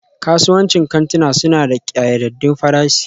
Kasuwancin kantuna suna da ƙayyadaddun farashi